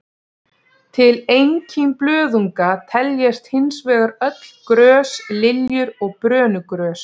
Til einkímblöðunga teljast hins vegar öll grös, liljur og brönugrös.